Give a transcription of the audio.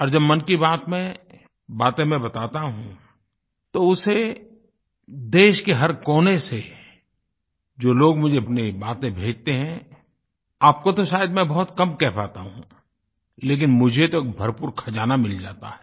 और जब मन की बात में बातें मैं बताता हूँ तो उसे देश के हर कोने से जो लोग मुझे अपनी बातें भेजते हैं आपको तो शायद मैं बहुत कम कह पाता हूँ लेकिन मुझे तो भरपूर खज़ाना मिल जाता है